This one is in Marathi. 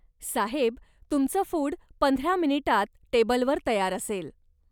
साहेब, तुमचं फुड पंधरा मिनिटांत टेबलवर तयार असेल.